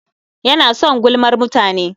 Yana son gulmar mutane.